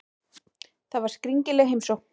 Þetta var skringileg heimsókn.